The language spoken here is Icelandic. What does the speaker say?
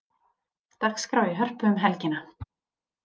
Dagskrá í Hörpu um helgina